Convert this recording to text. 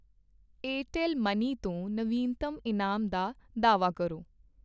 Airtel Money ਤੋਂ ਨਵੀਨਤਮ ਇਨਾਮ ਦਾ ਦਾਅਵਾ ਕਰੋ।